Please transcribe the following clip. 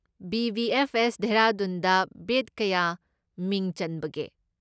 BBFS. ꯗꯦꯍꯔꯥꯗꯨꯟꯗ bet ꯀꯌꯥ ꯃꯤꯡ ꯆꯟꯕꯒꯦ?